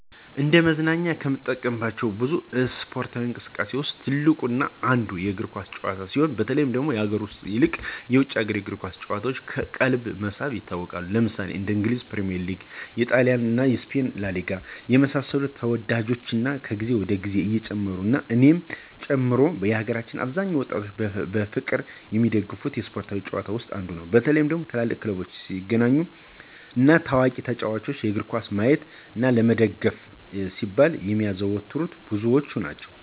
እንደ መዝናኛነት ከምንጠቀምባቸው ብዙ እስፓርታዊ እንቅስቃሴዎች ውስጥ ትልቁ እና አንዱ የእግር ኳስ ጭዋታ ሲሆን በተለይ ከሀገር ውስጥ ይልቅ የውጭ የእግር ኳስ ጭዋታዎች ቀልብን በመሳብ ይታወቃሉ። ለምሳሌ እንደ እንግሊዝ ፕሪሚዬር ሊግ; ጣሊንሴሪያ እና ስፔን ላሊጋ የመሳሰሉት ተዎዳጅነታቸው ከግዜ ወደ ግዜ እየጨመሩ እና እኔን ጨምሮ የሀገራችን አብዛኛውን ወጣቶች በፍቅር የሚደገፉት ስፓርታዊ ጭዋታ ውስጥ አንዱ ነው። በተለይ ትልልቅ ክለቦች ሲገናኙ እና ታዋቂ ተጫዎቾችን እግርኳስ ለማየት እና ለመደገፍ ሲባል የሚያዘወትረው ብዙ ናቸው።